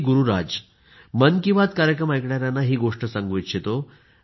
गुरुराज मन की बात कार्यक्रम ऐकणाऱ्यांना ही गोष्ट सांगू इच्छितो